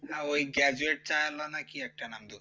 না ওই graduate চা ওয়ালা না কি একটা নাম বলছে